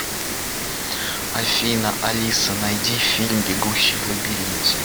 афина алиса найди фильм бегущий в лабиринте